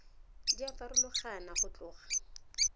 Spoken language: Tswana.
di a farologana go tloga